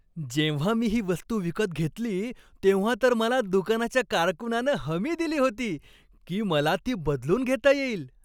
जेव्हा मी ही वस्तू विकत घेतली, तेव्हा तर मला दुकानाच्या कारकुनानं हमी दिली होती, की मला ती बदलून घेता येईल.